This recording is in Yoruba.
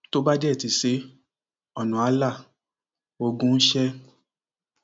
tó bá dé ti ṣe é ọnà áà la ogun ń ṣe é